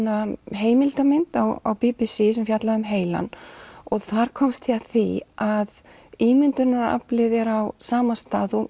heimildarmynd á b b c sem fjallaði um heilann og þar komst ég að því að ímyndunaraflið er á sama stað og